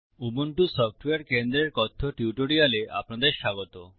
Ubuntu software কেন্দ্রের কথ্য টিউটোরিয়ালে আপনাদের স্বাগত